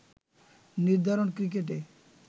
নির্ধারণ ক্রিকেটে